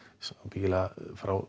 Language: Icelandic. örugglega frá